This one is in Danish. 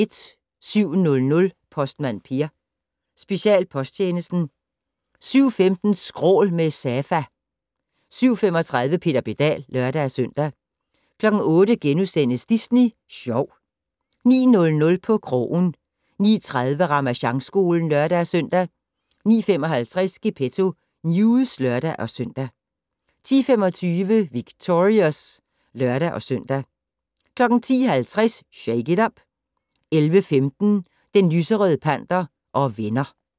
07:00: Postmand Per: Specialposttjenesten 07:15: Skrål - med Safa 07:35: Peter Pedal (lør-søn) 08:00: Disney Sjov * 09:00: På krogen 09:30: Ramasjangskolen (lør-søn) 09:55: Gepetto News (lør-søn) 10:25: Victorious (lør-søn) 10:50: Shake it up! 11:15: Den lyserøde panter og venner